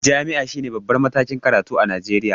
Jam'i shine babban matakin karatu a Najeriya